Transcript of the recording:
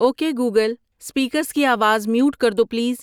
okay Google speakers کی آواز mute کر دو پلیز